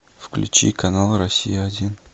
включи канал россия один